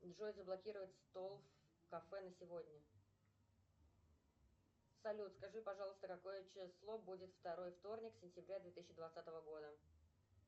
джой заблокировать стол в кафе на сегодня салют скажи пожалуйста какое число будет второй вторник сентября две тысячи двадцатого года